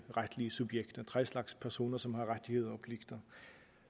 retlige subjekter tre slags personer som har rettigheder og pligter